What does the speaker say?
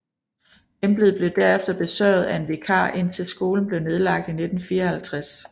Embedet blev derefter besørget af en vikar indtil skolen blev nedlagt i 1954